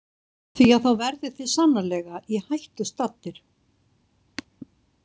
Því að þá verðið þið sannarlega í hættu staddir.